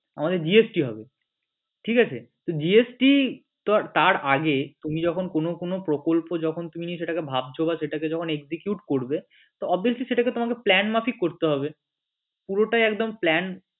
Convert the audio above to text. আমাদের GST হবে ঠিক আছে GST তার আগে তুমি যখন কোন কোন প্রকল্প যখন তুমি সেটাকে ভাবছ বা সেটাকে যখন execute করবে তো obviously সেটাকে তোমাকে plan মাফিক করতে হবে পুরোটাই একদম plan